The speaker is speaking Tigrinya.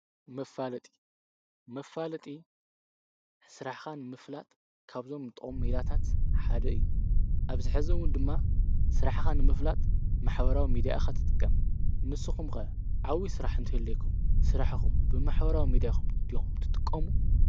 መፋለጢ፣ መፋለጢ ስራሕኻ ንምፍላጥ ካብዞም ዝጠቅሙ ሜላታት ሓደ እዩ። ኣብ ዚሕዚ እውን ድማ ስራሕኻ ንምፍላጥ ማኅበራዊ ሚዲያ ኢካ ትጥቀም። ንስኹም ከ ዓብይ ስራሕ እንተዝህልየኩም ስራሕኹም ብማኅበራዊ ሚዲያኹም ድኹም ትጥቆሙ?